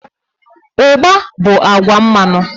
Ugba bu agwa mmanu